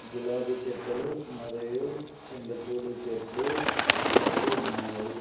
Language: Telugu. గులాబీ చెట్టలు మరియు చెండు పూల చెట్లు కలిగి ఉన్నాయి.